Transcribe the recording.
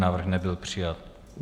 Návrh nebyl přijat.